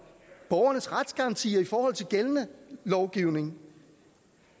borgernes retsgaranti i forhold til gældende lovgivning